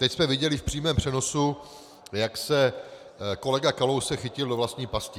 Teď jsme viděli v přímém přenosu, jak se kolega Kalousek chytil do vlastní pasti.